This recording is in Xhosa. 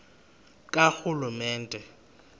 karhulumente